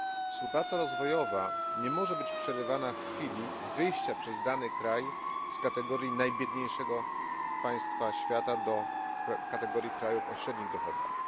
Współpraca rozwojowa nie może być przerywana w chwili wyjścia przez dany kraj z kategorii najbiedniejszego państwa świata do kategorii krajów o średnich dochodach.